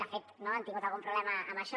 de fet han tingut algun problema amb això